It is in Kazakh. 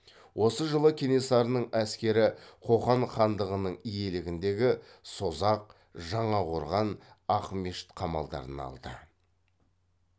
осы жылы кенесарының әскері қоқан хандығының иелігіндегі созақ жаңақорған ақмешіт қамалдарын алды